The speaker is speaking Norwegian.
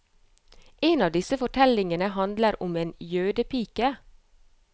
En av disse fortellingene handler om en jødepike.